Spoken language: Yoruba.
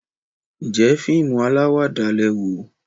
njé fíìmù alawada lẹ wò?